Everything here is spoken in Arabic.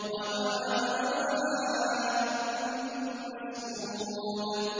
وَمَاءٍ مَّسْكُوبٍ